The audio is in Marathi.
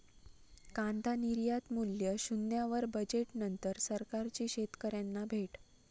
कांदा निर्यातमूल्य शून्यावर, बजेटनंतर सरकारची शेतकऱ्यांना भेट!